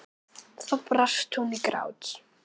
Þá brast hún í grát.